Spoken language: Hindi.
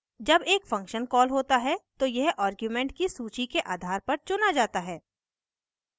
जब एक function कॉल होता है तो यह आर्ग्यूमेंट की सूची के आधार पर चुना जाता है